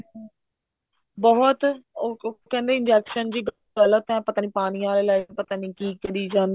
ਬਹੁਤ ਉਹ ਕਹਿੰਦੇ injection ਜੀ ਗਲਤ ਏ ਪਤਾ ਨੀ ਪਾਣੀ ਆਲੇ ਲਾਏ ਪਤਾ ਨੀ ਕੀ ਕਰੀ